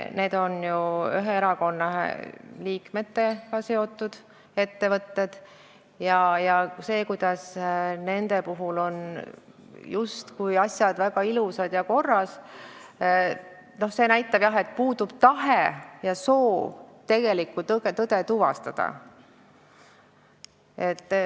Need on ju ühe erakonna liikmetega seotud ettevõtted ja see, kuidas nende puhul on asjad justkui väga ilusad ja korras, näitab jah, et puudub tahe ja soov tõde tuvastada.